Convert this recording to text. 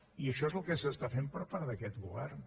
i això és el que s’està fent per part d’aquest govern